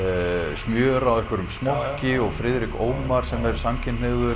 smjör á einhverjum smokki og Friðrik Ómar sem er samkynhneigður